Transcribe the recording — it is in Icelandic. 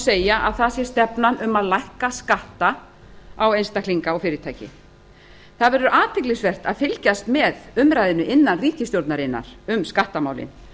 segja að það sé stefnan að lækka skatta á einstaklinga og fyrirtæki það verður athyglisvert að fylgjast með umræðunni innan ríkisstjórnarinnar um skattamálin